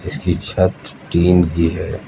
इसकी छत टीन की है।